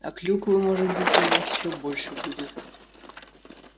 а клюквы может быть у нас ещё больше будет